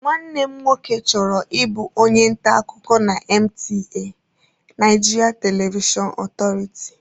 Nwanne m nwoke chọrọ ịbụ onye nta akụkọ na NTA(Nigerian Television Authority)